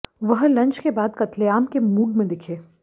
वह लंच के बाद कत्लेआम के मूड में दिखे